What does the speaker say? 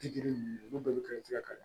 Bi duuru ninnu bɛɛ bɛ kiiri tigɛ kalan